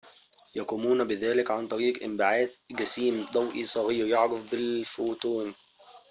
يقومون بذلك عن طريق انبعاث جسيم ضوئي صغير يعرف ب الفوتون